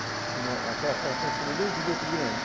Eu mo Aquela casa está em cima do esgoto grande.